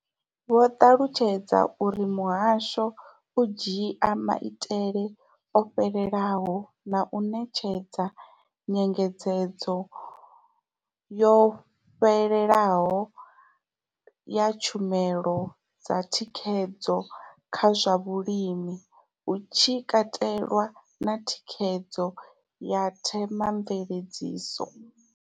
Vho ṱalutshedza uri muhasho u dzhia maitele o fhelelaho na u ṋetshedza nyengedzedzo yo fhelelaho ya tshumelo dza thikhedzo kha zwa vhulimi, hu tshi katelwa na thikhedzo ya Thema mveledziso.